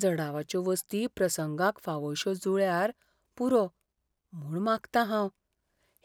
जडावाच्यो वस्ती प्रसंगाक फावोश्यो जुळ्ळ्यार पुरो म्हूण मागतां हांव.